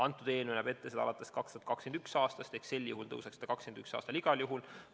See eelnõu näeb selle ette alates 2021. aastast ehk sel juhul tõuseks see 2021. aastal igal juhul.